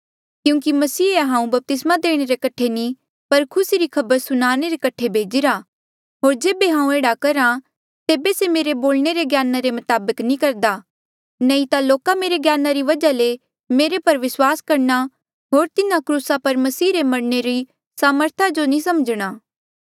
क्यूंकि मसीहे हांऊँ बपतिस्मा देणे रे कठे नी पर खुसी री खबर सुनाणे रे कठे भेजिरा होर जेबे हांऊँ एह्ड़ा करहा तेबे से मेरे बोलणे रे ज्ञाना रे मताबक नी करदा नही ता लोका मेरे ज्ञाना री वजहा ले मेरे पर विस्वास करणा होर तिन्हा क्रूस पर मसीह रे मरणे री सामर्था जो नी समझणा